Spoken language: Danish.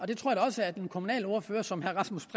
det tror jeg også at en kommunalordfører som herre rasmus